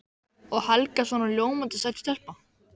Og Helga svona ljómandi sæt stelpa.